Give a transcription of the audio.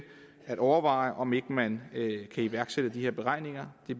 at overveje om ikke man kan iværksætte de her beregninger det